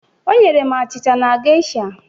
O nyere m achịcha na geisha.